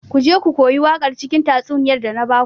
Ku je ku koyi waƙar cikin tatsuniyar da na baku.